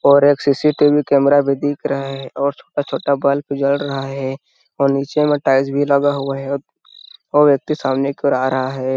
और एक C. C. T. V. Camera दिख रहा हैं और छोटा-छोटा बल्ब भी जल रहा हैं और नीचे मे टाइल्स भी लगा हुआ हैं औ व्यक्ति सामने की ओर आ रहा हैं।